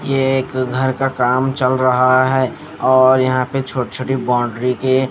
ये एक घर का काम चल रहा है और यहां पे छोटे छोटे बाउंड्री के--